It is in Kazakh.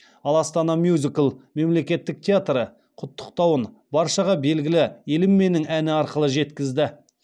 ал астана мюзикл мемлекеттік театры құттықтауын баршаға белгілі елім менің әні арқылы жеткізді